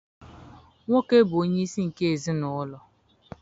Nwoke bụ onyeisi nke ezinaụlọ.